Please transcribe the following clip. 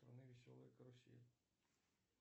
веселая карусель